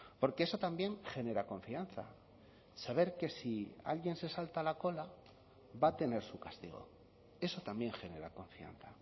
porque eso también genera confianza saber que si alguien se salta la cola va a tener su castigo eso también genera confianza